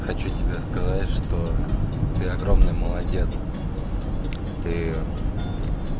хочу тебе сказать что ты огромный молодец ты